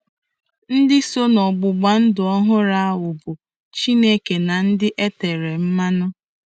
Ndị so n'ọgbụgba ndụ ọhụrụ ahụ bụ Chineke na ndị e tere mmanụ.